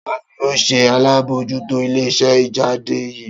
Ta ni o ṣe alabojuto ile-iṣẹ ijade yii?